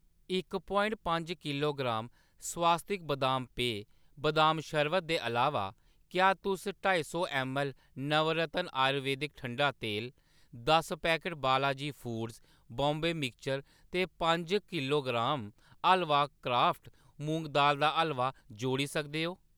इक प्वाइट पंज किलोग्राम स्वास्तिक्स बदाम पेय, बदाम शरबत दे अलावा, क्या तुस ढाई सौ ऐम्मऐल्ल नवरत्न आयुर्वेदक ठंडा तेल , दस packet Balaji foods Bombay mixture ते पंज किलोग्राम हलवा क्राफ्ट मूंग दाली दा हलवा जोड़ी सकदे ओ ?